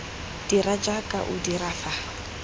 dira jaaka o dira fa